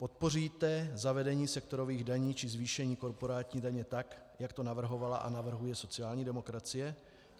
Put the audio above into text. Podpoříte zavedení sektorových daní či zvýšení korporátní daně, tak jak to navrhovala a navrhuje sociální demokracie?